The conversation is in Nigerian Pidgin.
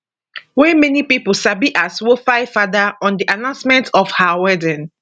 wey many pipo sabi as wofaifada on di announcement of her wedding